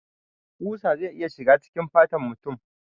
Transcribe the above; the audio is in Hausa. Ƙusa zai iya shiga cikin fatan mutum